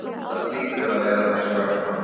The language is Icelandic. Það hlýtur að vera þess vegna.